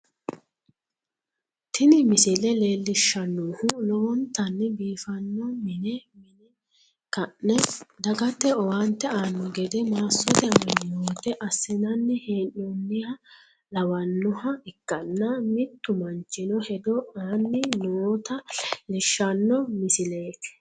Tini misile leellishshannohu lowontanni biifanno mine mine ka'ne dagete owaante aanno gede massote amanyoote assinanni hee'noonniha lawannoha ikkanna, mittu manchino hedo aanni nota leellishshanno misileeti.